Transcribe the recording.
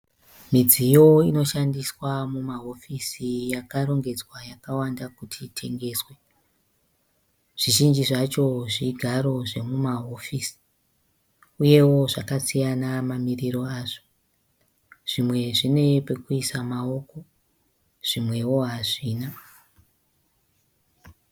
Midziyo inoshandiswa mumahofisi yakarongedzwa yakawanda kuti itengeswe. Zvizhinji zvacho zvigaro zvemumahofisi uyewo zvakasiyana mamiriro azvo. Zvimwe zvine pekuisa maoko zvimwewo hazvina.